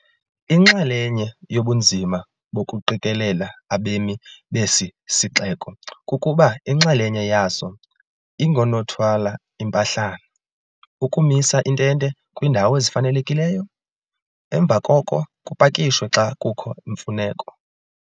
Inxalenye yobunzima bokuqikelela abemi besi sixeko kukuba inxalenye yaso ingoonothwal ' impahlana, ukumisa iintente kwiindawo ezifanelekileyo, emva koko kupakishwe xa kukho imfuneko.